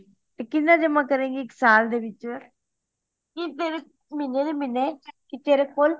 ਤੇ ਕੀਹਨੇ ਜਮਾ ਕਰੇਂਗੀ ਇੱਕ ਸਾਲ ਦੇ ਵਿਚ ਕੀ ਤੇਰੇ ਮਹੀਨੇ ਦੇ ਮਹੀਨੇ ਕਿ ਤੇਰੇ ਕੋਲ